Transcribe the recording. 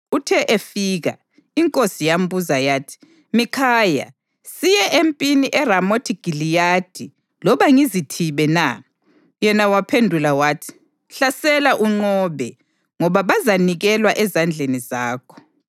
Uthe efika, inkosi yambuza yathi, “Mikhaya, siye empini eRamothi Giliyadi, loba ngizithibe na?” Yena waphendula wathi: “Hlasela unqobe, ngoba bazanikelwa ezandleni zakho.”